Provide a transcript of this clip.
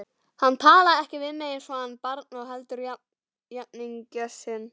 Hann talaði ekki við mig eins og barn heldur jafningja sinn.